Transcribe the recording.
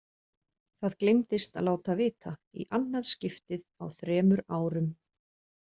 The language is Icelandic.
Það gleymdist að láta vita, í annað skiptið á þremur árum.